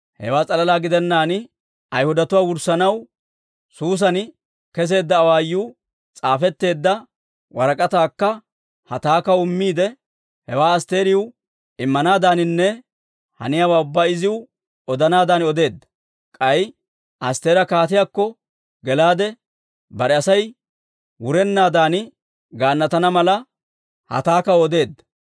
Hewaa s'alalaa gidennaan, Ayhudatuwaa wurssanaw Suusan keseedda awaayuu s'aafetteedda warak'ataakka Hataakaw immiide, hewaa Asttiriw immanaadaaninne haniyaawaa ubbaa iziw odanaadan odeedda. K'ay Astteera kaatiyaakko gelaade, bare Asay wurennaadan gaannatana mala, Hataakaw odeedda.